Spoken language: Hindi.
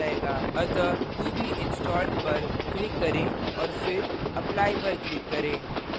अतः to be installed पर click करें और फिर apply पर click करें